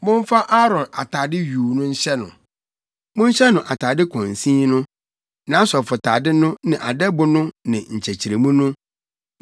Momfa Aaron atade yuu no nhyɛ no. Monhyɛ no atade kɔnsin no, nʼasɔfotade no ne adɛbo no ne nkyekyeremu no,